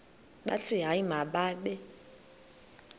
bathi hayi mababe